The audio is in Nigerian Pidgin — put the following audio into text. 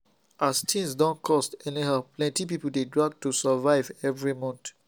as things don cost anyhow plenty people dey drag to survive every month